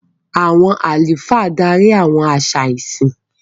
Àwọn àlùfáà darí àwọn àṣà ìsìn.